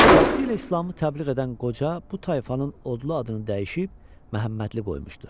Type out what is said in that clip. Vaxtilə İslamı təbliğ edən qoca bu tayfanın odlu adını dəyişib Məhəmmədli qoymuşdu.